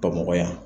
Bamakɔ yan